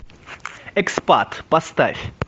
экспат поставь